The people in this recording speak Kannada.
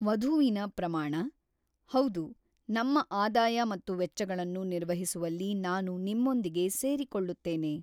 ವಧುವಿನ ಪ್ರಮಾಣ: ಹೌದು, ನಮ್ಮ ಆದಾಯ ಮತ್ತು ವೆಚ್ಚಗಳನ್ನು ನಿರ್ವಹಿಸುವಲ್ಲಿ ನಾನು ನಿಮ್ಮೊಂದಿಗೆ ಸೇರಿಕೊಳ್ಳುತ್ತೇನೆ.